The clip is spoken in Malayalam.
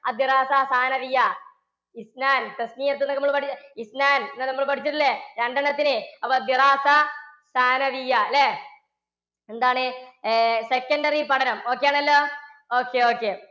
എന്നൊക്കെ നമ്മൾ പഠിച്ചു പഠിച്ചിട്ടില്ലേ. രണ്ടെണ്ണത്തിന്. അല്ലേ? എന്താണ് secondary പഠനം. okay ആണല്ലോ okay, okay.